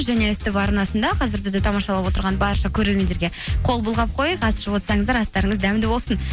және ств арнасында қазір бізді тамашалап отырған барша көрермендерге қол бұлғап қояйық ас ішіп отырсаңыздар астарыңыз дәмді болсын